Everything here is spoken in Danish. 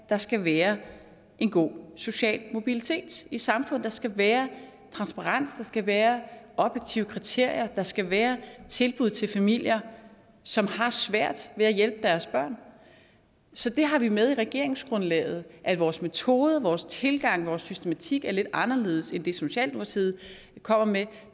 der skal være en god social mobilitet i samfundet at der skal være transparens at der skal være objektive kriterier og at der skal være tilbud til familier som har svært ved at hjælpe deres børn så det har vi med i regeringsgrundlaget at vores metoder vores tilgang og vores systematik er lidt anderledes end det socialdemokratiet kommer med